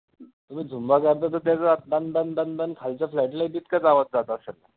तुम्ही zumba dance बघितला तर दन दन दन दन खालच्या flat लाही तितकाचं आवाज जात असेल.